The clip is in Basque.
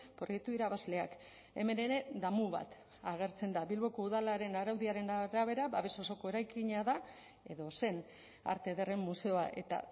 proiektu irabazleak hemen ere damu bat agertzen da bilboko udalaren araudiaren arabera babes osoko eraikina da edo zen arte ederren museoa eta